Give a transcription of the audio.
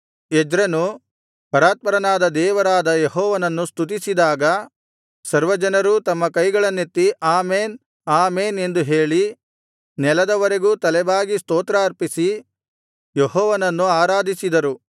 ಎಜ್ರನು ಪರಾತ್ಪರನಾದ ದೇವರಾದ ಯೆಹೋವನನ್ನು ಸ್ತುತಿಸಿದಾಗ ಸರ್ವಜನರೂ ತಮ್ಮ ಕೈಗಳನ್ನೆತ್ತಿ ಆಮೆನ್ ಆಮೆನ್ ಎಂದು ಹೇಳಿ ನೆಲದವರೆಗೂ ತಲೆಬಾಗಿ ಸ್ತೋತ್ರ ಆರ್ಪಿಸಿ ಯೆಹೋವನನ್ನು ಆರಾಧಿಸಿದರು